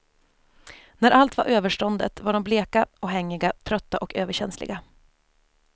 När allt var överståndet var de bleka och hängiga, trötta och överkänsliga.